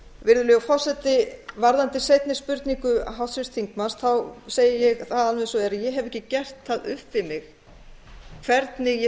virðulegur forseti varðandi seinni spurningu háttvirts þingmanns segi ég alveg eins og er að ég hef ekki gert það upp við mig hvernig ég